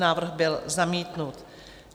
Návrh byl zamítnut.